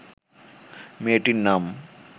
মেয়েটির নাম